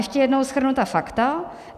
Ještě jednou shrnu fakta.